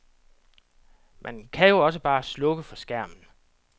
Man kan jo også bare slukke for skærmen.